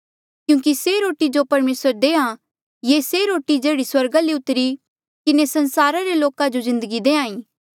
क्यूंकि से रोटी जो परमेसर देहां ये से रोटी जेह्ड़ी स्वर्गा ले उतरी किन्हें संसारा रे लोका जो जिन्दगी देहां ईं